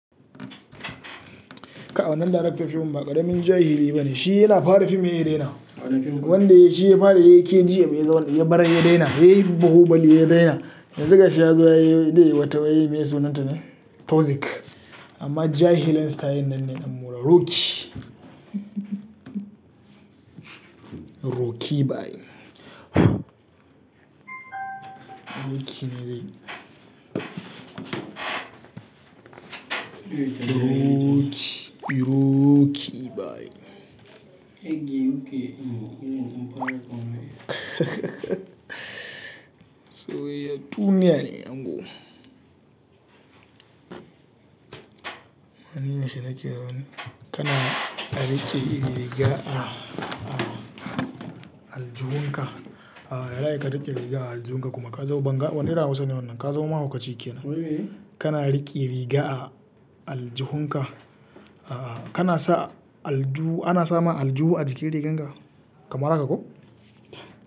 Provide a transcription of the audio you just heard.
Ka wan nan director fim ba ƙaramin jahili bane. Shi yana fara fim hai ya daina, wanda yai shi ya fara yin KG ya bar ya daina, yayi Bahubali ya daina. Yanzu ga shi ya zo yayi wai zai yi wata wai me sunanta ne? Toxic. Ama jahilin stylin nan ne dan barauba. Rhoki. Rocky bayi. Rocky ne dai. Rocky, Rocky bayi. So ya tuni ya ne ango. Wai niyan shi nake rauni? Kana rike riga a aljihunka. Yaza a yi ka rike riga a aljihunka kuma ka za banga, wane irin Hausa ne wannan? Ka za ma mahaukaci ke nan. Kana rike riga a aljihunka. Kana sa alju, ana sama alju a jikin rigarka? Kamar haka ko?